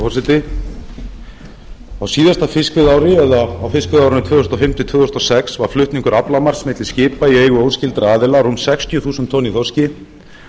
forseti á síðasta fiskveiðiári eða á fiskveiðiárinu tvö þúsund og fimm til tvö þúsund og sex var flutningur aflamarks milli skipa í eigu óskyldra aðila rúm sextíu þúsund tonn í þorski